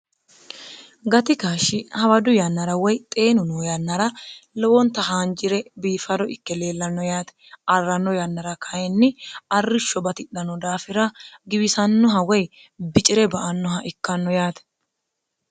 gati kaashshi hawadu yannara woy xeenu noo yannara lowonta haanji're biifaro ikke leellanno yaate arranno yannara kayinni arrishsho batidhano daafira giwisannoha woy bici're ba annoha ikkanno yaate